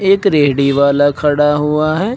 एक रेडी वाला खड़ा हुआ है।